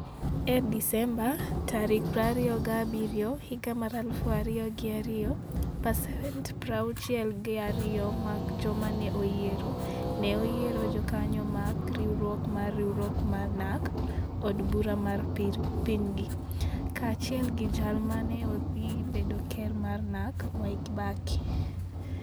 E Desemba 27, 2002, pasent 62 mag joma ne oyiero, ne oyiero jokanyo mag Riwruok mar Riwruok mar NaRC e od bura mar pinygi, kaachiel gi jal ma ne dhi bedo ker mar NaRC, Mwai Kibaki.